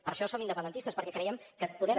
per això som independentistes perquè creiem que podem